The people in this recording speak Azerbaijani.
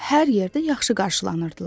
hər yerdə yaxşı qarşılanırdılar.